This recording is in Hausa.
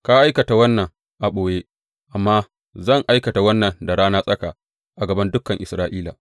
Ka aikata wannan a ɓoye, amma zan aikata wannan da rana tsaka, a gaban dukan Isra’ila.’